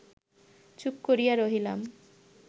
চুপ করিয়া রহিলাম